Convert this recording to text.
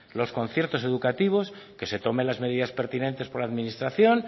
los conciertos educativos que se tomen las medidas pertinentes por la administración